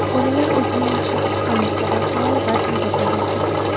Bolalar o‘zini yaxshi his qilmoqda va faol vazn to‘plamoqda.